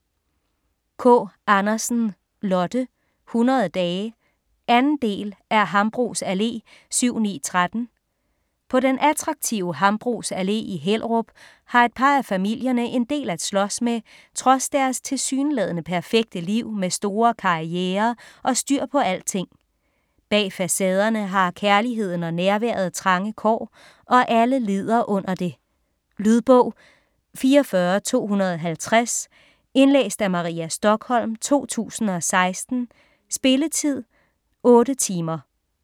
Kaa Andersen, Lotte: 100 dage 2. del af Hambros Allé 7-9-13. På den attraktive Hambros Allé i Hellerup har et par af familierne en del at slås med trods deres tilsyneladende perfekte liv med store karrierer og styr på alting. Bag facaderne har kærligheden og nærværet trange kår, og alle lider under det. Lydbog 44250 Indlæst af Maria Stokholm, 2016. Spilletid: 8 timer.